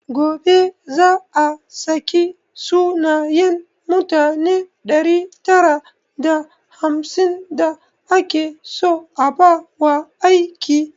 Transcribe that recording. Gobe za a saki sunayen mutane ɗari tara da hamsin da ake so a ba wa aiki